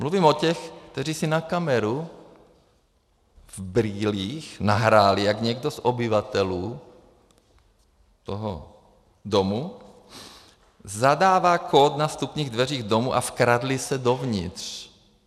Mluvím o těch, kteří si na kameru v brýlích nahráli, jak někdo z obyvatel toho domu zadává kód na vstupních dveřích domu, a vkradli se dovnitř.